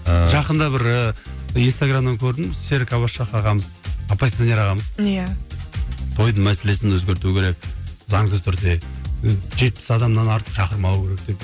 ыыы жақында бір ііі инстаграмнан көрдім серік аббас шах ағамыз оппозиционер ағамыз иә тойдың мәселесін өзгерту керек заңды түрде жетпіс адамнан артық шақырмау керек деп